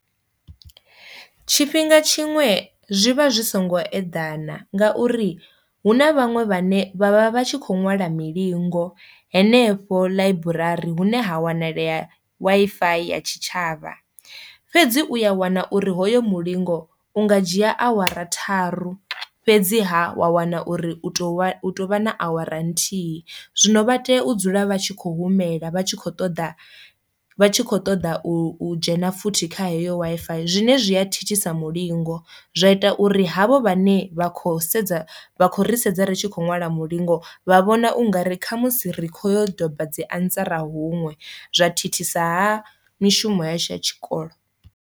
Tshifhinga tshiṅwe zwivha zwi songo eḓana ngauri hu na vhaṅwe vhane vha vha vha tshi kho ṅwala milingo henefho ḽaiburari hune ha wanalea Wi-Fi ya tshitshavha. Fhedzi u ya wana uri hoyo mulingo unga dzhia awara tharu, fhedziha wa wana uri u tou vha na awara nthihi zwino vha tea u dzula vha tshi kho humela vha tshi kho ṱoḓa vha tshi kho ṱoḓa u dzhena futhi kha heyo Wi-Fi zwine zwi a thithisa mulingo, zwa ita uri havho vhane vha khou sedza vha kho ri sedza ritshi kho ṅwala mulingo vha vhona ungari kha musi ri kho yo doba dzi answer huṅwe zwa thithisaha mishumo yashu ya tshikolo.